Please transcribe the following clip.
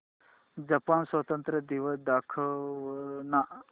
Japan स्वातंत्र्य दिवस दाखव ना